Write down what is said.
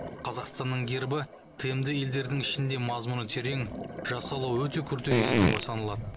қазақстанның гербі тмд елдерінің ішінде мазмұны терең жасалуы өте күрделі елтаңба саналады